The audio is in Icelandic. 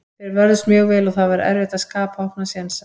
Þeir vörðust mjög vel og það var erfitt að skapa opna sénsa.